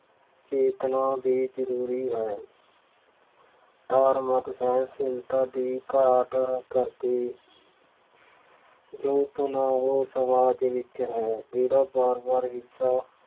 ਚੇਤਨਾ ਵੀ ਜ਼ਰੂਰੀ ਹੈ। ਧਾਰਮਿਕ ਸਹਿਣਸ਼ੀਲਤਾ ਦੀ ਘਾਟ ਹੋਣ ਕਰਕੇ ਜੋ ਤਣਾਅ ਸਮਾਜ ਵਿੱਚ ਹੈ ਜਿਹੜਾ ਵਾਰ ਵਾਰ ਹਿੰਸਾ